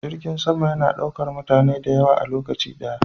Jirgin sama yana daukar mutane da yawa a lokaci daya.